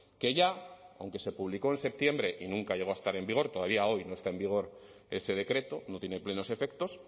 que ya aunque se publicó en septiembre y nunca llegó a estar en vigor todavía hoy no está en vigor ese decreto no tiene plenos efectos